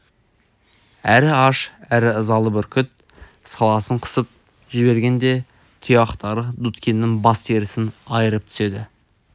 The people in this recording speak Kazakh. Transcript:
әрі аш әрі ызалы бүркіт саласын қысып жібергенде тұяқтары дудкиннің бас терісін айырып түседі